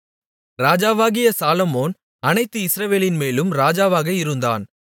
ராஜாவாகிய சாலொமோன் அனைத்து இஸ்ரவேலின்மேலும் ராஜாவாக இருந்தான்